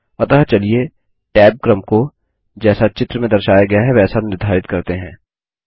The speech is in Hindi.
अतः चलिए टैब क्रम को जैसा चित्र में दर्शाया गया है वैसा निर्धारित करते हैं